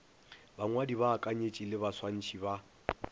bangwadi baakanyetši le baswantšhi ba